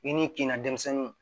I n'i kin na denmisɛnninw